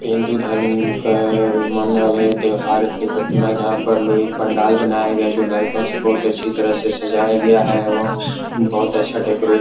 हिंदू धर्म के मानने वाले ये त्योहार के प्रतिमा जहां पे लोग एक पंडाल बनाए गए है जो लाइटों से बहुत अच्छी तरह से सजाया गया है एवं बहुत अच्छा डेकोरेट --